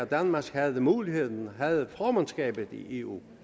danmark havde muligheden for danmark havde formandskabet i eu